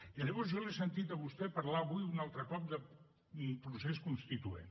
i llavors jo l’he sentit a vostè parlar avui un altre cop de procés constituent